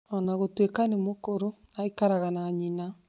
O na gũtuĩka nĩ mũkũrũ, aikaraga na nyina.